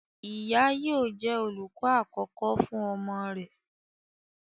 Ìyá yóò jẹ́ olùkọ àkọ́kọ́ fún ọmọ rẹ̀.